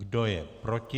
Kdo je proti?